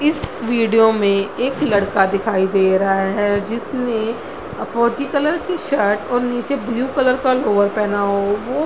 इस वीडियो में एक लड़का दिखाई दे रहा है जिसने फौजी कलर की शर्ट और नीचे ब्लू कलर का लोअर पहना हुआ है वो --